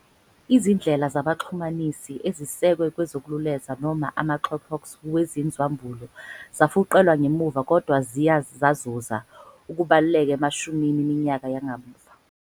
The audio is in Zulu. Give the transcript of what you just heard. Izindlela zabaxhumanisi ezisekwe kwezokululeza noma amaxhoxhox weziNzwa ambulu zafuqelwa ngemuva kodwa ziye zazuza ukubaluleka emashumini eminyaka yakamuva.